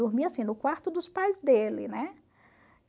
dormi assim, no quarto dos pais dele, né?